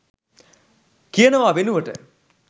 කියනවා වෙනුවට